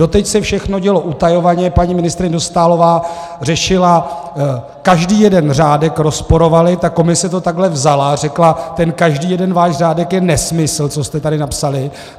Doteď se všechno dělo utajovaně, paní ministryně Dostálová řešila, každý jeden řádek rozporovali, ta Komise to takhle vzala, řekla, ten každý jeden váš řádek je nesmysl, co jste tady napsali.